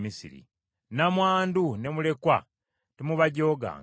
“Nnamwandu ne mulekwa temubajooganga.